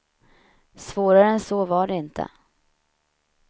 Svårare än så var det inte.